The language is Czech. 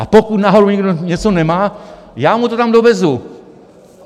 A pokud náhodou někdo něco nemá, já mu to tam dovezu.